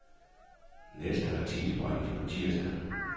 Næste artikel bringes på tirsdag.